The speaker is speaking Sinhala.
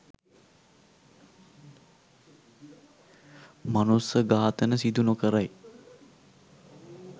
මනුස්ස ඝාතන සිදු නොකරයි